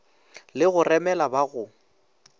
le go remela ba go